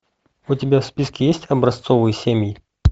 у тебя в списке есть образцовые семьи